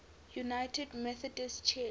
united methodist church